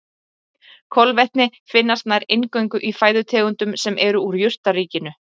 Kolvetni finnast nær eingöngu í fæðutegundum sem eru úr jurtaríkinu.